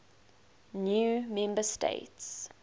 new member states